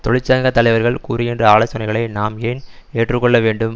தொழிற்சங்க தலைவர்கள் கூறுகின்ற ஆலசோனைகளை நாம் ஏன் ஏற்றுக்கொள்ள வேண்டும்